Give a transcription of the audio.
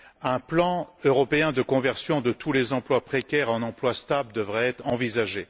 Un plan européen de conversion de tous les emplois précaires en emplois stables devrait être envisagé